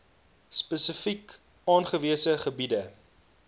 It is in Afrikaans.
spesifiek aangewese gebiede